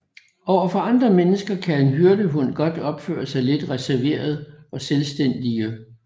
Overfor andre mennesker kan en hyrdehund godt opføre sig lidt reserveret og selvstændige